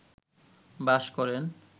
বাস করেন